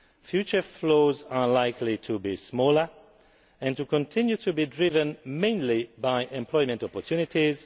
Future flows are likely to be smaller and to continue to be driven mainly by employment opportunities.